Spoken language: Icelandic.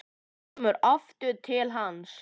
Hún kemur aftur til hans.